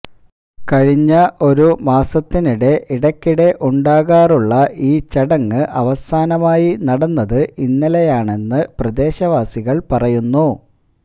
കഴിഞ്ഞ ഒരു മാസത്തിനിടെ ഇടയ്ക്കിടെ ഉണ്ടാകുള്ള ഈ ചടങ്ങ് അവസാനമായി നടന്നത് ഇന്നലെയാണെന്ന് പ്രദേശ വാസികൾ പറയുന്നു